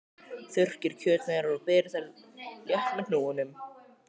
Þurrkið kjötsneiðarnar og berjið þær létt með hnúunum.